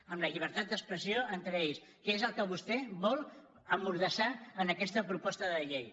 amb la llibertat d’expressió entre ells que és el que vostè vol emmordassar amb aquesta proposta de llei